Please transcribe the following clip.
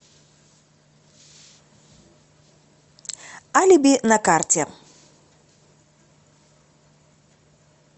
алиби на карте